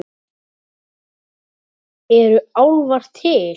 Eru álfar til?